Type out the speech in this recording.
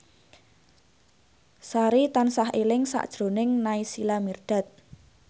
Sari tansah eling sakjroning Naysila Mirdad